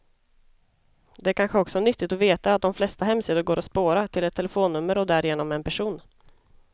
Det är kanske också nyttigt att veta att de flesta hemsidor går att spåra, till ett telefonnummer och därigenom en person.